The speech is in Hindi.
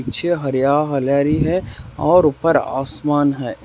पीछे हरया हलेरी है और ऊपर आसमान है।